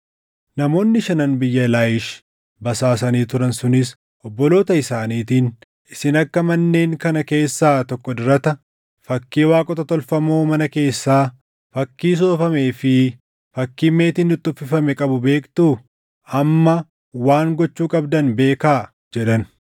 Namoonni Shanan biyya Laayish basaasanii turan sunis, obboloota isaaniitiin, “Isin akka manneen kana keessaa tokko dirata, fakkii waaqota tolfamoo mana keessaa, fakkii soofamee fi fakkii meetiin itti uffifame qabu beektuu? Amma waan gochuu qabdan beekaa” jedhan.